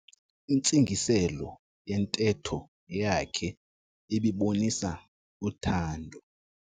Intsingiselo yentetho yakhe ibibonisa uthando.